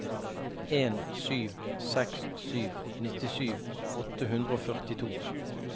en sju seks sju nittisju åtte hundre og førtito